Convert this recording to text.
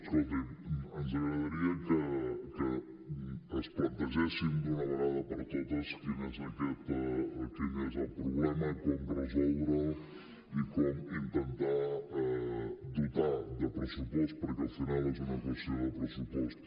escolti’m ens agradaria que es plantegessin d’una vegada per totes quin és el problema com resoldre’l i com intentar dotar de pressupost perquè al final és una qüestió de pressupost